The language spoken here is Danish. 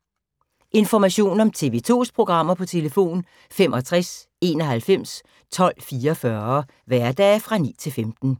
Information om TV 2's programmer: 65 91 12 44, hverdage 9-15.